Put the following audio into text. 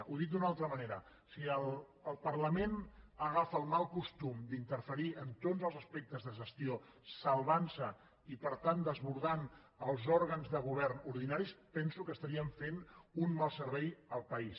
ho dic d’una altra manera si el parlament agafa el mal costum d’interferir en tots els aspectes de gestió salvant se i per tant desbordant els òrgans de govern ordinaris penso que estaríem fent un mal servei al país